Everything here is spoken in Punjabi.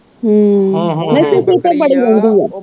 ਹਮ ਨਹੀਂ ਤੇ ਬੜੀ ਗੰਦੀ ਆ।